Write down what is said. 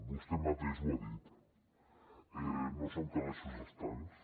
vostè mateix ho ha dit no són calaixos estancs